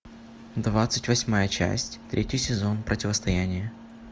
двадцать восьмая часть третий сезон противостояние